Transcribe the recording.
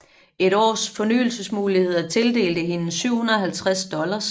Et års fornyelsesmuligheder tildelte hende 750 dollars